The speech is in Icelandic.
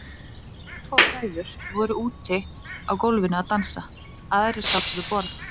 Örfáar hræður voru úti á gólfinu að dansa, aðrir sátu við borð.